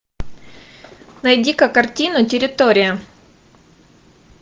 найди ка картину территория